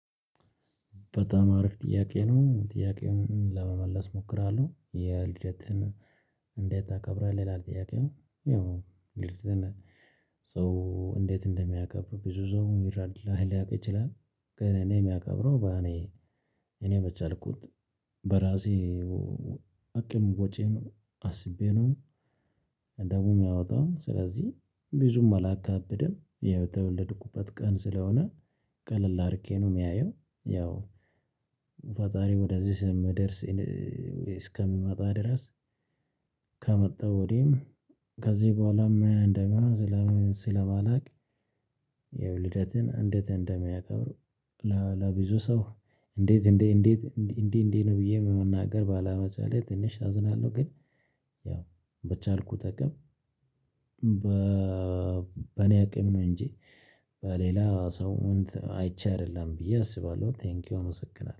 በጣም አሪፍ ጥያቄ ነው። ጥያቄውን ለመመለስ እሞክራለሁ የልደትን እንዴት ታከብራለህ? ይላል ጥያቄው ያው ልደትን ሰው እንዴት እንደሚያከብር ብዙ ሰው ይረዳል ሊያውቅ ይችላል። ግን እኔ የማከብረው በኔ እኔ በቸአልኩት በራሴ አቅም ወጪም አስቤ ነው። ደግሞ የሚያወጣው ስለዚህ ብዙም አላካብደም የተወለድኩበት ቀን ስለሆነ ቀለል አርጌ ነው ማየው። ፈጣሪ ወደዚህ ምድር እስከሚመጣ ድረስ ከመጣ ወዲህም ከዚህ በኋላ ምን እንደሚሆን? ስለማላውቅ። የውልደትን እንዴት እንደሚያከብሩ። ለብዙ ሰው እንዴት እንዴት እንዴት እንዲህ እንዲህ ነው ብዬ በመናገር ባለመቻሌ ትንሽ አዝናለሁ። ግን ያው በቻልኩት አቅም በ በኔ አቅም ነው እንጂ በሌላ ሰው አይቼ አይደለም ብዬ አስባለሁ። ቴንኪው አመሰግናለሁ